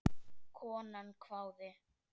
Konan hváði.